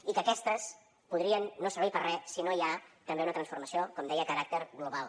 i que aquestes podrien no servir per a res si no hi ha també una transformació com deia de caràcter global